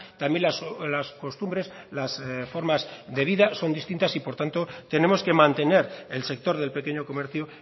también las costumbres las formas de vida son distintas y por tanto tenemos que mantener el sector del pequeño comercio